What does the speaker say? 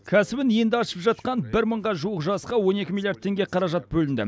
кәсібін енді ашып жатқан бір мыңға жуық жасқа он екі миллиард теңге қаражат бөлінді